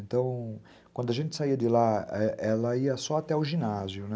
Então, quando a gente saía de lá, ela ia só até o ginásio, né?